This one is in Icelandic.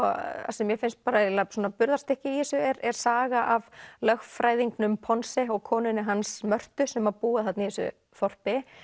sem mér finnst eiginlega í þessu er er saga af lögfræðingnum Ponse og konunni hans Mörtu sem búa þarna í þessu þorpi